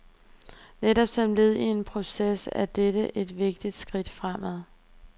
Netop som led i en proces er dette et vigtigt skridt fremad.